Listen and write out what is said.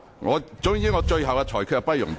我的最終裁決不容辯論。